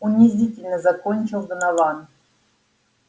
унизительно закончил донован